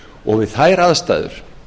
og við þær aðstæður